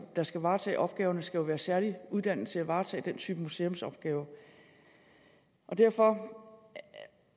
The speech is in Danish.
der skal varetage opgaverne skal jo være særligt uddannet til at varetage den type museumsopgaver derfor